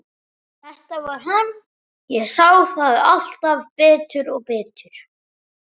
Þetta var hann, ég sá það alltaf betur og betur.